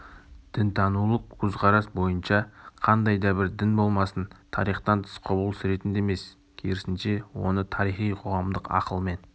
дінтанулық көзқарас бойынша қандай да бір дін болмасын тарихтан тыс құбылыс ретінде емес керісінше оны тарихи коғамдық ақылмен